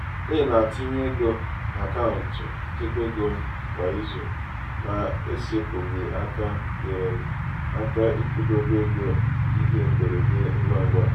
ị na-etinye ego n'akaụntụ nchekwaego m kwa izu na-esepụghị aka nyeere m aka ịkwụdobe ego ihe mberede ngwangwa.